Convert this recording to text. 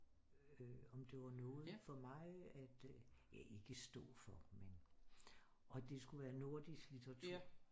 Om det var noget for mig at øh ja ikke stå for men og det skulle være nordisk litteratur